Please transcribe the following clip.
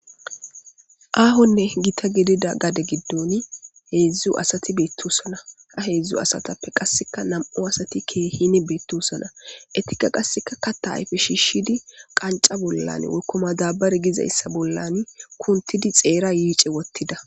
Aahonne gita gidida gade giddoni heedzdzu asati beettosona ha heedzdzu asatappe qasseka nam7u asati keehine beettosona etika qasseka katta ayfe shiishidi qanca bollan ekkoma dabare gizayssa bollan kuntidi xeera yiice wottida.